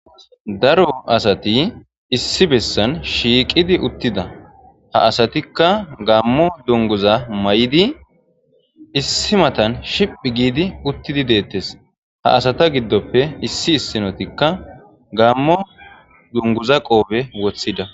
Daro asati issi bessan shiiqidi uttida ha asatikka gammo dunguza may'idi issi matan shiph giidi uttidi deettes ha asata giddoppe issi issinotikka gammo dunguza qoobe woththida.